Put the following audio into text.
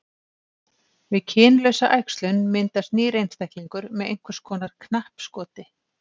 Við kynlausa æxlun myndast nýr einstaklingur með einhvers konar knappskoti.